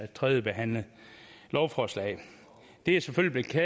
tredjebehandlede lovforslaget det er selvfølgelig